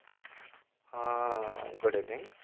ହଁ good evening